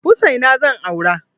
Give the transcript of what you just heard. Hussaina zan aura.